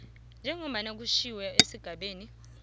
njengombana kutjhiwo esigabeni